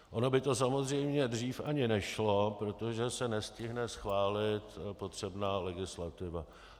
Ono by to samozřejmě dřív ani nešlo, protože se nestihne schválit potřebná legislativa.